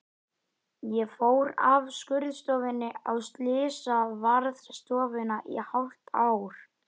Ég fór af skurðstofunni á slysavarðstofuna í hálft ár.